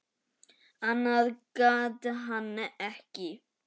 Annað gat hann ekki.